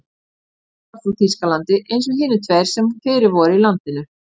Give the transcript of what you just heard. Hann var frá Þýskalandi eins og hinir tveir sem fyrir voru í landinu.